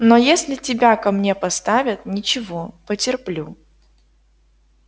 но если тебя ко мне поставят ничего потерплю